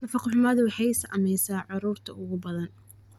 Nafaqo-xumadu waxay saamaysaa carruurta ugu badan.